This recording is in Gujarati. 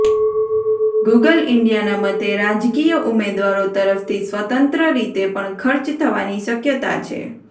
ગૂગલ ઇન્ડિયાના મતે રાજકીય ઉમેદવારો તરફથી સ્વતંત્ર રીતે પણ ખર્ચ થવાની શક્યતા છે